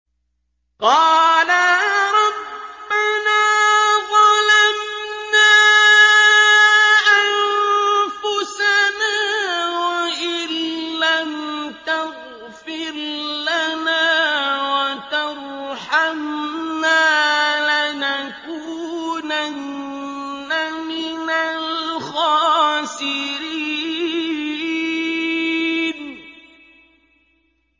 قَالَا رَبَّنَا ظَلَمْنَا أَنفُسَنَا وَإِن لَّمْ تَغْفِرْ لَنَا وَتَرْحَمْنَا لَنَكُونَنَّ مِنَ الْخَاسِرِينَ